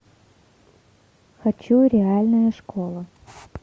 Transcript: хочу реальная школа